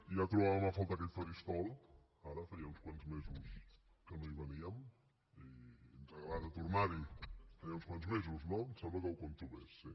ja trobàvem a faltar aquest faristol ara feia uns quants mesos que no hi veníem i ens agrada tornar hi feia uns quants mesos no em sembla que ho compto bé sí